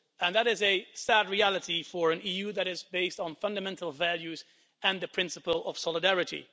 And that is a sad reality for an EU that is based on fundamental values and the principle of solidarity.